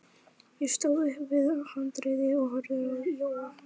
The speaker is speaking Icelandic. Ég stóð upp við handriðið og horfði á Jóa.